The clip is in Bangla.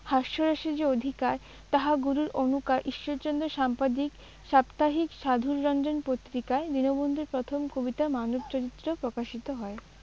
হাস্যরসে যে অধিকার তাহা গুরুর অনুকার ঈশ্বরচন্দ্র সাম্পাদিক সাপ্তাহিক সাধুররঞ্জন পত্রিকায় দীনবন্ধুর প্রথম কবিতা মানব চরিত্র প্রকাশিত হয়।